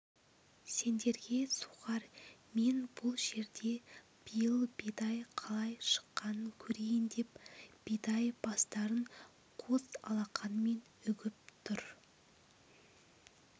сендерге сухарь мен бұл жерде биыл бидай қалай шыққанын көрейін деп бидай бастарын қос алақанымен үгіп тұр